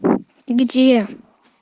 где